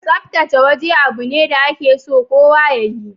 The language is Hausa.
Tsaftace waje abu ne da ake so kowa ya yi.